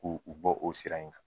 K' u u bɔ o sira in kan.